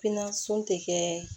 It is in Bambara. Pinasɔn tɛ kɛ